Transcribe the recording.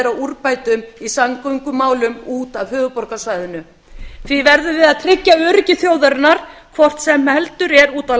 að úrbótum í samgöngumálum út af höfuðborgarsvæðinu því verðum við að tryggja öryggi þjóðarinnar hvort sem heldur er úti á